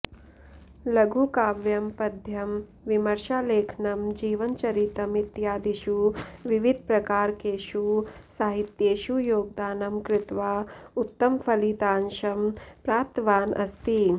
लघुकाव्यं पद्यं विमर्शालेखनं जीवनचरितम् इत्यादिषु विविधप्रकारकेषु साहित्येषु योगदानं कृत्वा उत्तमफलितांशं प्राप्तवान् अस्ति